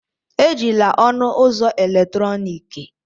Ejila ọnụ ụzọ eletrọnịkị!